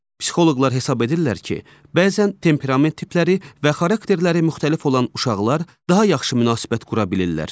Psixoloqlar hesab edirlər ki, bəzən temperament tipləri və xarakterləri müxtəlif olan uşaqlar daha yaxşı münasibət qura bilirlər.